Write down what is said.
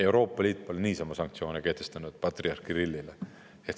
Euroopa Liit pole niisama sanktsioone kehtestanud patriarh Kirillile.